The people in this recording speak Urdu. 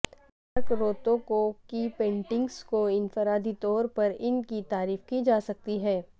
مارک روتوکو کی پینٹنگز کو انفرادی طور پر ان کی تعریف کی جا سکتی ہے